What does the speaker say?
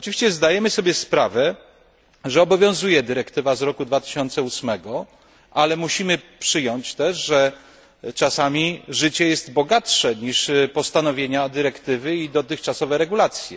Zdajemy sobie sprawę, że obowiązuje dyrektywa z 2008 roku, ale musimy też przyjąć, że czasami życie jest bogatsze niż postanowienia dyrektywy i dotychczasowe regulacje.